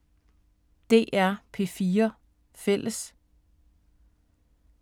DR P4 Fælles